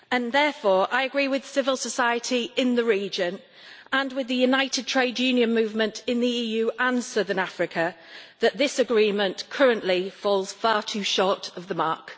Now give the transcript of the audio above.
Therefore, I agree with civil society in the region and with the united trade union movement in the EU and Southern Africa that this agreement currently falls far too short of the mark.